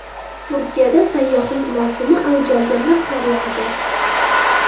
Turkiyada sayyohlik mavsumi avj olganda qor yog‘di .